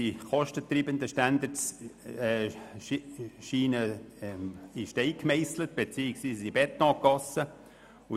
Die kostentreibenden Standards scheinen in Stein gemeisselt beziehungsweise in Beton gegossen zu sein.